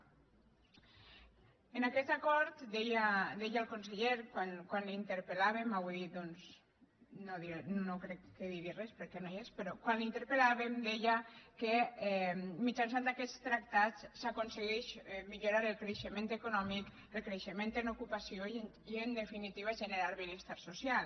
en aquest acord deia el conseller quan l’interpel avui doncs no crec que digui res perquè no hi és però quan l’interpel·làvem deia que mitjançant aquests tractats s’aconsegueix millorar el creixement econòmic el creixement en ocupació i en definitiva generar el benestar social